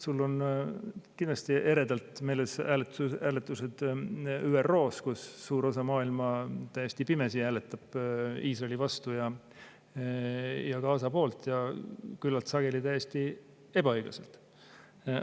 Sul on kindlasti eredalt meeles hääletused ÜRO-s, kus suur osa maailma täiesti pimesi hääletab Iisraeli vastu ja Gaza poolt, ja küllalt sageli täiesti ebaõiglaselt.